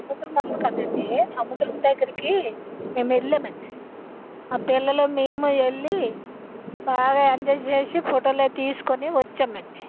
సముద్రము వుంది కదా అండి సముద్రము దగ్గర పిల్లలు మేము వెళ్లి బాగా ఎంజాయ్ చేసి ఫోటో తీసుకునం.